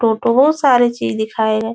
सारे चीज दिखाए है।